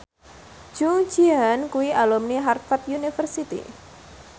Jung Ji Hoon kuwi alumni Harvard university